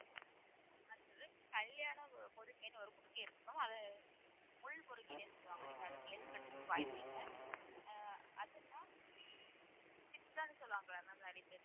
அடுத்தது கல்யாண முருங்கைன்னு ஒரு முருங்கை இருக்கும் அதை முள் முருங்கைன்னே சொல்லுவாங்க நீங்க அதை கேள்விப்பட்டிருக்க வாய்ப்பில்ல ஆஹ் அதுனா பித்தம்ன்னு சொல்லுவாங்கல்ல நெறையபேர்